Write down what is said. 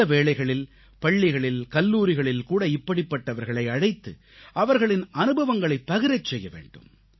சில வேளைகளில் பள்ளிகளில் கல்லூரிகளில் கூட இப்படிப்பட்டவர்களை அழைத்து அவர்களின் அனுபவங்களைப் பகிரச் செய்ய வேண்டும்